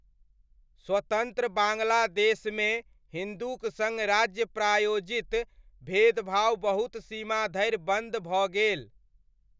स्वतन्त्र बाङ्ग्लादेशमे हिन्दूक सङ्ग राज्य प्रायोजित भेदभाव बहुत सीमा धरि बन्द भऽ गेल।